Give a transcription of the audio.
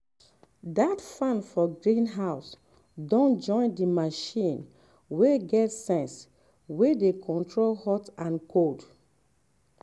that fan for greenhouse don join the machine wey get sense wey dey control hot and cold.